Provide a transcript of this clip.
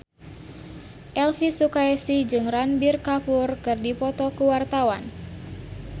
Elvy Sukaesih jeung Ranbir Kapoor keur dipoto ku wartawan